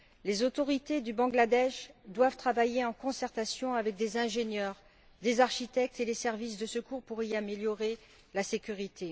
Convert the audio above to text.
Les autorités du Bangladesh doivent travailler, en concertation avec des ingénieurs, des architectes et des services de secours, pour y améliorer la sécurité.